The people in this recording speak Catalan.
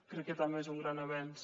crec que també és un gran avenç